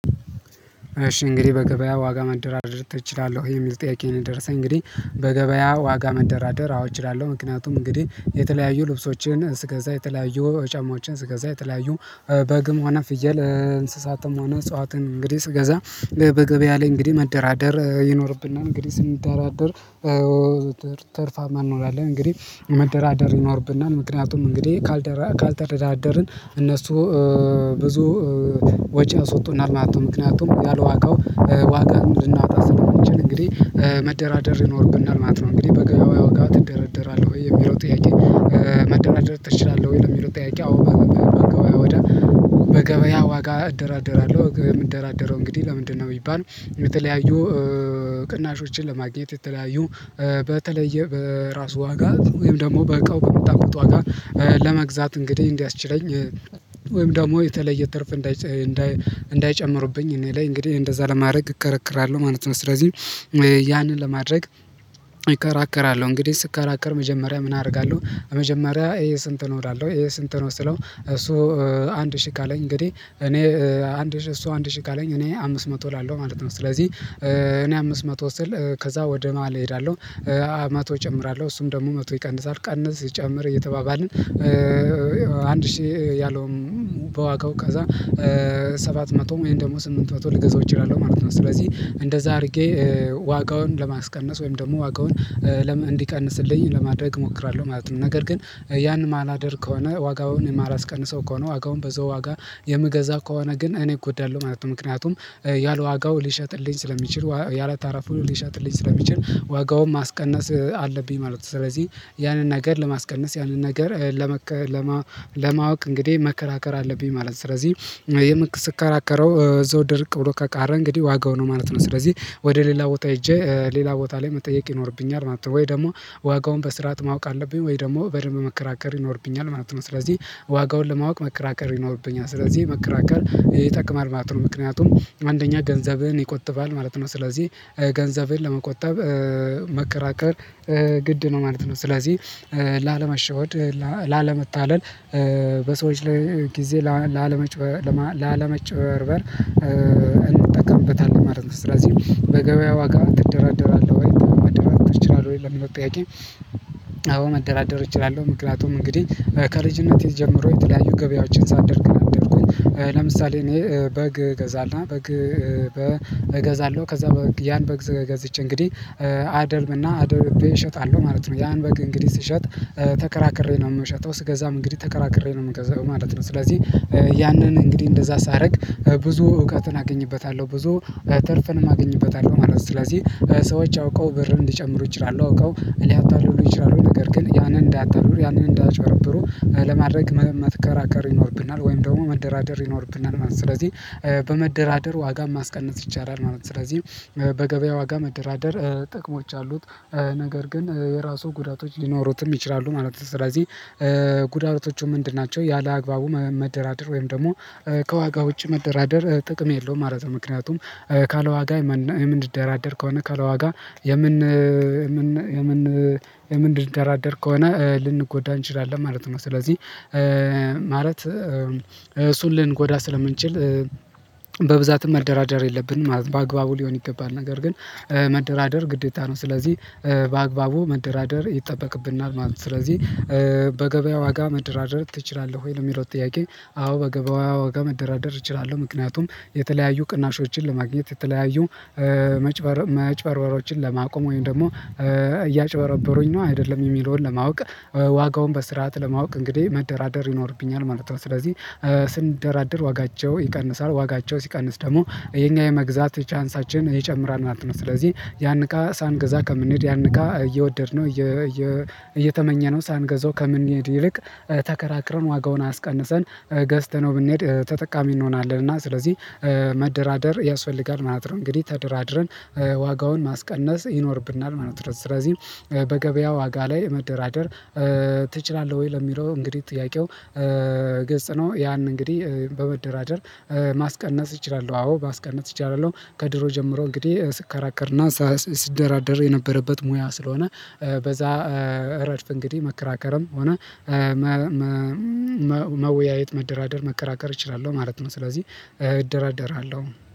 እሺ እንግዲህ በገበያ ዋጋ መደራደር እችላለሁ የሚል ጥያቄ ነው የደረሰኝ እንግዲህ በገበያ ዋጋ መደራደር አውት እችላለሁ ምክንያቱም እንግዲህ የተለያዩ ልብሶችን እስከዛ የተለያዩ ጫማዎችን እስከዛ የተለያዩ በግም ሆነ ፍየል እንስሳትም ሆነ እጽዋትን እንግዲህ ስገዛ በገበያ ላይ እንግዲህ መደራደር ይኖርብና እንግዲህ ስንደራደር ተርፋማ እንሆናን እንግዲህ መደራደር ይኖርብናል ምክንያቱም እንግዲህ ካልተረዳደርን እነሱ ብዙ ወጪ አስወጡና አልናቶ ምክንያቱም ያለዋጋው ዋጋ እንድናወራ ስለምንችል እንግዲህ መደራደር ይኖርብናል ማለት ነው እንግዲህ በገበያው ያውቃት ይደረደራል ወይ የሚለው ጥያቄ መደናደር ትችላለህ ወይ የሚለው ጥያቄ አዎ በገበያ ዋጋ እደራደራለሁ የምደራደረው እንግዲህ ለምንድነው የሚባል የተለያዩ ቅናሾችን ለማግኘት የተለያዩ በተለየ በራሱ ዋጋ ወይም ደግሞ በእቃው በምታውቁት ዋጋ ለመግዛት እንግዲህ እንዲያስችለኝ ወይም ደግሞ የተለየ ትርፍ እንዳይጨምሩብኝ እኔ ላይ እንግዲህ እንደዛ ለማድረግ እከረክራለሁ ማለት ነው ስለዚህ ያንን ለማድረግ እከራከራለሁ እንግዲህ ስከራከር መጀመሪያ ምን አደርጋለሁ መጀመሪያ ይሄ ስንት ነው እላለሁ ይሄ ስንት ነው ስለው እሱ አንድ ሺህ ካለኝ እንግዲህ እኔ አንድ ሺህ እሱ አንድ ሺህ ካለኝ እኔ አምስት መቶ እላለሁ ማለት ነው ስለዚህ እኔ አምስት መቶ ስል ከዛ ወደ ነዋል እሄዳለሁ መቶ እጨምራለሁ እሱም ደግሞ መቶ ይቀንሳል ቀንስ ጨምር እየተባባልን አንድ ሺህ ያለውም በዋጋው ከዛ ሰባት መቶ ወይም ደግሞ ስምንት መቶ ልገዛው እችላለሁ ማለት ነው ስለዚህ እንደዛ አድርጌ ዋጋውን ለማስቀነስ ወይም ደግሞ ዋጋውን እንዲቀንስልኝ ለማድረግ እሞክራለሁ ማለት ነው ነገር ግን ያን ማላደር ከሆነ ዋጋውን የማላስቀንሰው ከሆነ ዋጋውን በዘው ዋጋ የምገዛ ከሆነ ግን እኔ እጎዳለሁ ማለት ነው ምክንያቱም ያላዋጋው ሊሸጥልኝ ስለሚችል ያላታራፉን ሊሸጥልኝ ስለሚችል ዋጋውን ማስቀነስ አለብኝ ማለት ነው ስለዚህ ያንን ነገር ለማስቀነስ ያንን ነገር ለመከራ ለማወቅ እንግዲህ መከራከር አለብኝ ማለት ነው ስለዚህ ስከራከረው እዘው ድርቅ ብሎ ከቃረ እንግዲህ ዋጋው ነው ማለት ነው ስለዚህ ወደ ሌላ ቦታ ሄጄ ሌላ ቦታ ላይ መጠየቅ ይኖርብኛል ማለት ነው ወይ ደግሞ ዋጋውን በስርዓት ማወቅ አለብኝ ወይ ደግሞ በደንብ መከራከር ይኖርብኛል ማለት ነው ስለዚህ ዋጋውን ለማወቅ መከራከር ይኖርብኛል ስለዚህ መከራከር ይጠቅማል ማለት ነው ምክንያቱም አንደኛ ገንዘብን ይቆጥባል ማለት ነው ስለዚህ ገንዘብን ለመቆጠብ መከራከር ግድ ነው ማለት ነው ስለዚህ ላለመሸወድ ላለመታለል በሰዎች ላይ ጊዜ ላለመጨበር ላለመጨበርበር እንጠቀምበታለን ማለት ነው ስለዚህ በገበያ ዋጋ ትደራደራለህ ወይ መደራደር ትችላለህ ወይ ለመጠያቀም መደራደር እችላለሁ ምክንያቱም እንግዲህ ከልጅነቴ ጀምሮ የተለያዩ ገበያዎችን ሳደርግ አደረኩኝ ለምሳሌ እኔ በግ ገዛልና እገዛለሁ ከዛ ያን በግ ዘገዝቼ እንግዲህ አደልብና አደልቤ እሸጣለሁ ማለት ነው ያን በግ እንግዲህ ስሸጥ ተከራክሬ ነው የምሸጠው ስገዛም እንግዲህ ተከራክሬ ነው የምገዛው ማለት ነው ስለዚህ ያንን እንግዲህ እንደዛ ሳደርግ ብዙ እውቀትን አገኝበታለሁ ብዙ ትርፈንም አገኝበታለሁ ማለት ነው ስለዚህ ሰዎች አውቀው ብር እንድጨምሩ ይችላሉ አውቃው ሊያታልሉ ይችላሉ ነገር ግን ያንን እንዳታልሉ ያንን እንዳትበረብሩ ለማድረግ መከራከር ይኖርብናል ወይም ደግሞ መደራደር ይኖርብናል ማለት ነው ስለዚህ በመደራደር ዋጋ ማስቀነስ ይቻላል ማለት ነው ስለዚህ በገበያ ዋጋ መደራደር ጥቅሞች አሉት ነገር ግን የራሱ ጉዳቶች ሊኖሩትም ይችላሉ ማለት ነው ስለዚህ ጉዳቶቹ ምንድን ናቸው ያለአግባቡ መደራደር ወይም ደግሞ ከዋጋ ውጪ መደራደር ጥቅም የለውም ማለት ነው ምክንያቱም ካለዋጋ ምንድደራደር ከሆነ ከለዋጋ የምን የምን የምን የምን ደራደር ከሆነ ልንጎዳ እንችላለን ማለት ነው ስለዚህ ማለት እሱን ልንጎዳ ስለምንችል በብዛትም መደራደር የለብንም ማለት በአግባቡ ሊሆን ይገባል ነገር ግን መደራደር ግዴታ ነው ስለዚህ በአግባቡ መደራደር ይጠበቅብናል ማለት ነው ስለዚህ በገበያ ዋጋ መደራደር ትችላለህ ወይ ለሚለው ጥያቄ አዎ በገበዋ ወጋ መደራደር እችላለሁ ምክንያቱም የተለያዩ ቅናሾችን ለማግኘት የተለያዩ መጨበርበሮችን ለማቆም ወይም ደግሞ እያጭበረበሩኝ ነው አይደለም የሚለውን ለማወቅ። ዋጋውን በስርዓት ለማወቅ እንግዲህ መደራደር ይኖርብኛል ማለቷ ስለዚህ ስንደራደር ዋጋቸው ይቀንሳል ዋጋቸው ሲቀንስ ደግሞ የኛ የመግዛት ቻንሳችን ይጨምራል ናት ነው ስለዚህ ያን እቃ ሳንገዛ ከምንሄድ ያን እቃ እየወደድነው እየ እየ እየ እየተመኘነው ሳንገዛው ከምንሄድ ይልቅ ተከራክረን ዋጋውን አስቀንሰን ገዝተነው ብንሄድ ተጠቃሚ እንሆናለን እና ስለዚህ መደራደር ያስፈልጋል ማለት ነው እንግዲህ ተደራድረን ዋጋውን ማስቀነስ ይኖርብናል ማለት ነው ስለዚህ በገበያ ዋጋ ላይ መደራደር ትችላለህ ወይ ለሚለው እንግዲህ ጥያቄው ገጽ ነው ያን እንግዲህ በመደራደር ማስቀነስ እችላለሁ አዎ በአስቀነጽ እችላለሁ ከድሮ ጀምሮ እንግዲህ ስከራከርና ስደራደር የነበረበት ሙያ ስለሆነ በዛ ረድፍ እንግዲህ መከራከርም ሆነ መወያየት መደራደር መከራከር እችላለሁ ማለት ነው ስለዚህ እደራደራለሁ።